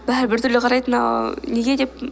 бәрі бір түрлі қарайды мынау неге деп